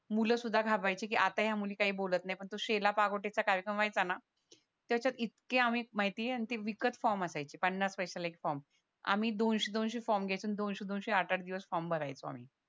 मुलं सुद्धा घाबरायची कारण आता या मुली काय बोलत नाय पण तो शेला पागोटेचा कार्यक्रम व्हायचा ना त्याच्यात आम्ही इतके माहिते आणि ते विकत फॉर्म असायचे पन्नास पैश्याला एक फॉर्म आम्ही दोनशे दोनशे फॉर्म घ्यायचो दोनशे दोनशे आठ आठ दिवस फॉर्म भरायचो आम्ही